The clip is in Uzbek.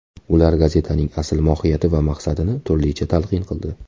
Ular gazetaning asl mohiyati va maqsadini turlicha talqin qildi.